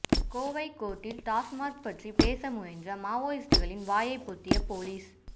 கோவை கோர்ட்டில் டாஸ்மாக் பற்றி பேச முயன்ற மாவோயிஸ்டுகளின் வாயை பொத்திய போலீஸ்